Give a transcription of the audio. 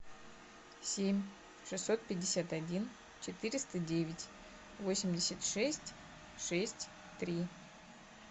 семь шестьсот пятьдесят один четыреста девять восемьдесят шесть шесть три